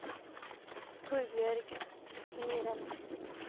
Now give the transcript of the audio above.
Torbjørg Myren